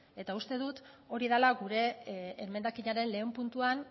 ez eta uste dut hori dala gure emendakinaren lehen puntuan